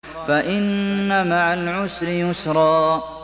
فَإِنَّ مَعَ الْعُسْرِ يُسْرًا